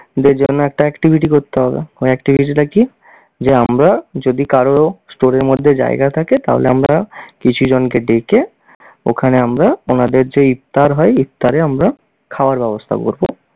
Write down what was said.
দের জন্য একটা activity করতে হবে। ওই activity টা কী? যে আমরা যদি কারোরো store এর মধ্যে জায়গা থাকে তাহলে আমরা কিছু জনকে ডেকে, ওখানে আমরা ওনাদের যে ইফতার হয় ইফতারে আমরা খাওয়ার ব্যবস্থা করবো।